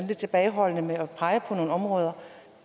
lidt tilbageholdende med at pege på nogle områder